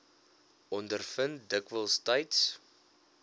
ondervind dikwels tyds